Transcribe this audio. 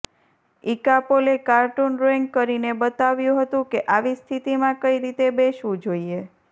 ઈકાપોલે cartoon drawing કરીને બતાવ્યું હતું કે આવી સ્થિતિમાં કઈ રીતે બેસવું જોઈએ